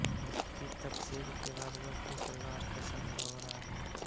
देश की तकसीम के बाद वह अपने परिवार के साथ लाहोर आ गई